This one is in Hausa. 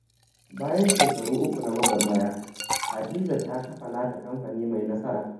Bayan shekaru uku na gwagwarmaya, Hadiza ta kafa nata kamfani mai nasara.